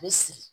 A bɛ sigi